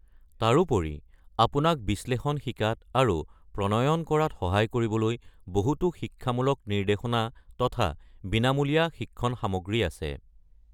তাৰোপৰিও, আপোনাক বিশ্লেষণ শিকাত আৰু প্ৰণয়ন কৰাত সহায় কৰিবলৈ বহুটো শিক্ষামূলক নিৰ্দেশনা তথা বিনামূলীয়া শিক্ষণ সামগ্ৰী আছে।